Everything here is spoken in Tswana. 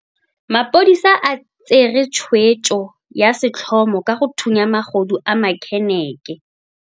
Maphodisa a tsere tshweetso ya setlhomo ka go thunya magodu a manekeneke.